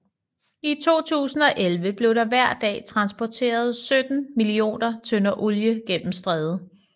I 2011 blev der hver dag transporteret 17 millioner tønder olie gennem strædet